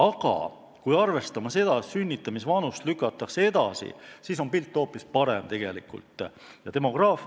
Aga kui arvestame seda, et sünnitamisvanust lükatakse edasi, siis on pilt tegelikult hoopis parem.